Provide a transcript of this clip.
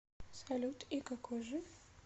салют и какой же